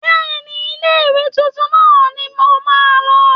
Bẹ́ẹ̀ni, ilé ìwé tuntun náà ni ǹ ó máa lọ